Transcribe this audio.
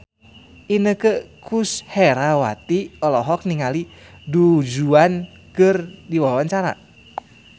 Inneke Koesherawati olohok ningali Du Juan keur diwawancara